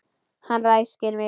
Hann ræskir sig.